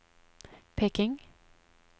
Peking